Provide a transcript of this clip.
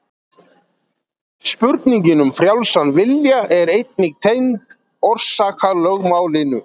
spurningin um frjálsan vilja er einnig tengd orsakalögmálinu